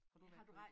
Har du været i